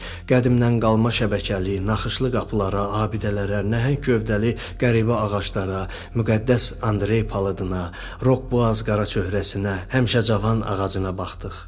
Qədimdən qalma şəbəkəli naxışlı qapılara, abidələrə, nəhəng gövdəli qəribə ağaclara, müqəddəs Andrey palıdına, Rok boğaz qaraçöhrəsinə, həmişəcavan ağacına baxdıq.